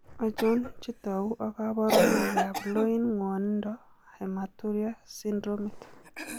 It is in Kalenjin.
Achon chetogu ak kaborunoik ab loin ng'wonindo hematuria syndromit?